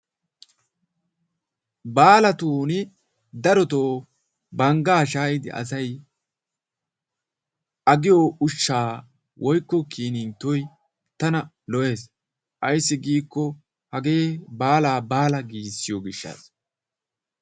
Baalatuuni darotoo banggaa shaayidi asay agiyo ushshay woykko kinniittoy tana lo'ees. Ayssi giikko hagee baalaa baala giissiyo gishshaassa.